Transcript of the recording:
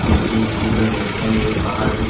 ये एक झूला लगता है ये बाहर एक--